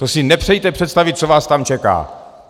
To si nepřejte představit, co vás tam čeká!